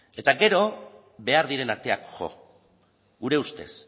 eta gero behar diren ateak jo gure ustez